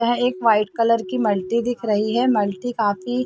यहाँ एक white colour की मल्टी दिख रही है मल्टी काफी--